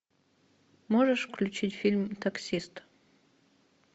можешь включить фильм таксист